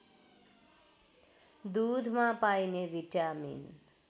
दूधमा पाइने भिटामिन